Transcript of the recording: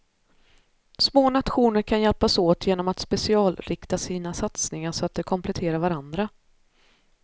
Små nationer kan hjälpas åt genom att specialrikta sina satsningar så att de kompletterar varanadra.